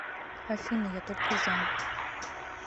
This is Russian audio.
афина я только за